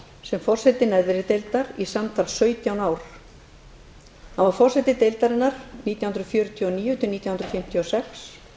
sem forseti neðri deildar í samtals sautján ár hann var forseti deildarinnar nítján hundruð fjörutíu og níu til nítján hundruð fimmtíu og sex